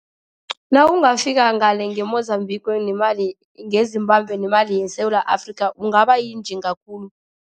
Nawungafika ngale nge-Mozambique ngeZimbabwe nemali yeSewula Afrika ungaba yinjinga khulu.